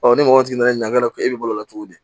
ni mɔgɔ jiginna ɲininkali kɛ e bɛ bolola cogo di